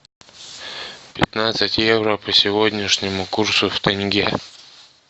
пятнадцать евро по сегодняшнему курсу в тенге